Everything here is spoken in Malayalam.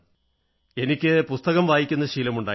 എനിക്ക് പുസ്തകം വായിക്കുന്ന ശീലമുണ്ടായിരുന്നു